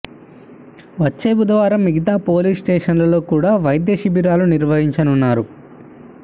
వచ్చే బుధవారం మిగతా పోలీస్ స్టేషన్లో కూడా వైద్య శిబిరాలు నిర్వహించనున్నారు